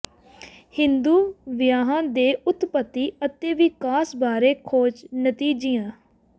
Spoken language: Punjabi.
ਹਿੰਦੂ ਵਿਆਹਾਂ ਦੇ ਉਤਪਤੀ ਅਤੇ ਵਿਕਾਸ ਬਾਰੇ ਖੋਜ ਨਤੀਜਿਆਂ